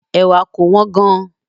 Ẹ̀wà kò wọ́n gan-an